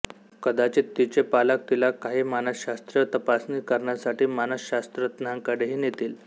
कदाचित तिचे पालक तिला काही मानसशास्त्रीय तपासणी करण्यासाठी मानसशास्त्रज्ञांकडेही नेतील